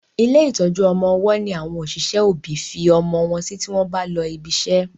ilé ìtọjú ọmọ ọwó ní àwọn òṣìṣẹ́ òbí fí ọmọ wón sí tí wón bá ló ìbí ṣe